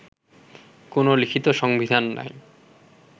কোন লিখিত সংবিধান নাই